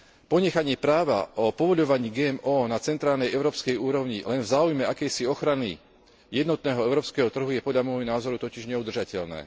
Ponechanie práva o povoľovaní GMO na centrálnej európskej úrovni len v záujme akejsi ochrany jednotného európskeho trhu je podľa môjho názoru totiž neudržateľné.